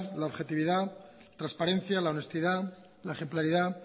la objetividad transparencia la honestidad la ejemplaridad